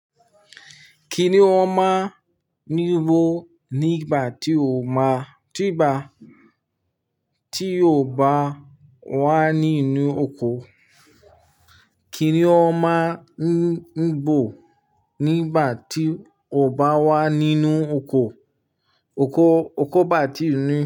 Kíni ó máa ń ní ibo nígbà tí o máa, tí ìgbà tí o bá wà nínú oko? Kíni ó máa ń gbò nígbà tí o bá wà nínú oko, oko, oko bà tí inú.